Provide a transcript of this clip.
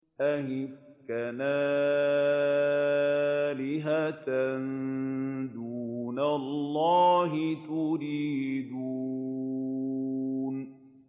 أَئِفْكًا آلِهَةً دُونَ اللَّهِ تُرِيدُونَ